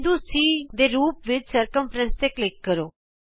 ਬਿੰਦੂ ਚ ਦੇ ਰੂਪ ਵਿਚ ਘੇਰਾ ਤੇ ਕਲਿਕ ਕਰੋ